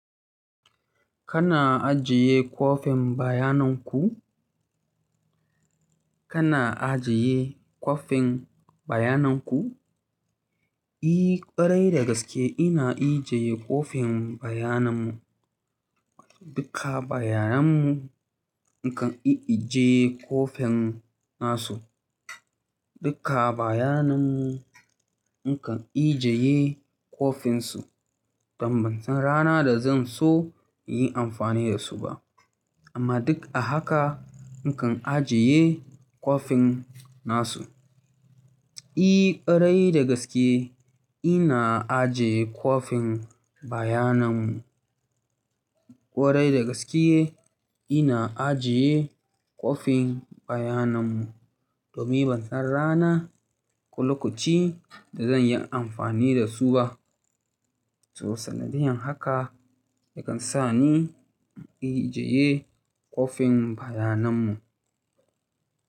Kana ajiye kwafin bayanan ku? Kana ajiye kwafin bayanan ku? I ƙwarai dagaske ina ijiye kwafin bayanan mu. Duka bayanan mu nakan i'ije kwofin nasu. Duka bayanan mu nakan ijeye kwafin su. Don ban san rana da zan so in yi amfani da su ba. Amma duk a haka nakan ajiye kwafin nasu. I ƙwarai dagaske ina ajiye kwafin bayanan mu. Ƙwarai dagaske ina ajiye kwafin bayanan mu. Domin ban san rana ko lokoci da zan yi amfani da su ba. So sanadiyan haka yakan sa ni in ijeye kwafin bayanan mu.